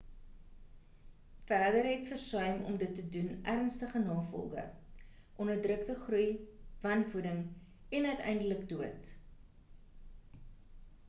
verder het versuim om dit te doen ernstige nagevolge onderdrukte groei wanvoeding en uiteindelik dood